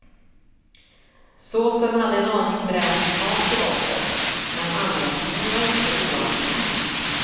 Såsen hade en aning bränd smak i botten, men anrättningen var inte oangenäm.